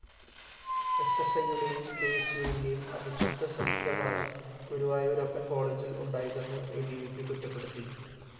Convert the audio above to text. എസ്എഫ്‌ഐയുടെയും കെഎസ്‌യുവിന്റെയും അവിശുദ്ധ സഖ്യമാണ് ഗുരുവായൂരപ്പന്‍കോളേജില്‍ ഉണ്ടായതെന്ന് അ ബി വി പി കുറ്റപ്പെടുത്തി